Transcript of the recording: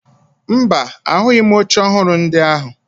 Mba, ahụghị m oche ọhụrụ ndị ahụ